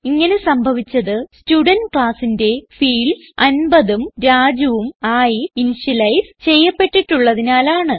ഇങ്ങനെ സംഭവിച്ചത് സ്റ്റുഡെന്റ് classന്റെ ഫീൽഡ്സ് 50ഉം Rajuഉം ആയി ഇനിഷ്യലൈസ് ചെയ്യപ്പെട്ടിട്ടുള്ളതിനാലാണ്